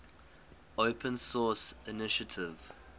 open source initiative